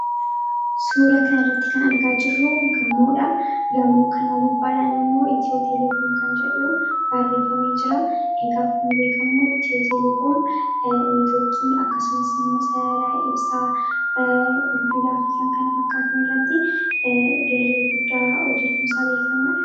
Suura kana irratti kan argaa jirruu gamoodha. Gamoo kana gubbaadhaan immoo Itiyoo teleekoom kan jedhuu baarreefamee jira. Egaa akkuma beekamu Itiyoo teleekoom niitwoorkii akkasumas immoo sarara ibsaa, bilbilaa fi kan kana fakkaatan irratti gahee guddaa hojjechuun isaa beekamaa dha.